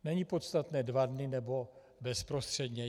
Není podstatné dva dny, nebo bezprostředně.